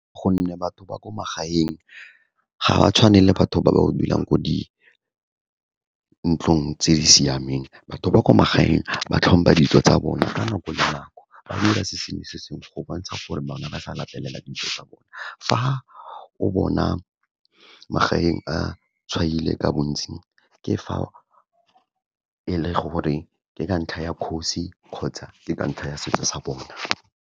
Gonne batho ba ko magaeng ga ba tshwane le batho ba ba dulang ko di ntlong tse di siameng, batho ba kwa magaeng ba tlhompha dijo tsa bona ka nako le nako, ba dira se sengwe-se sengwe go bontsha gore bane ba sa latelela dijo tsa bona. Fa o bona magaeng a tshwaile ka bontsi ke fa e le gore ke ka ntlha ya kgosi kgotsa ke ka ntlha ya setso sa bona.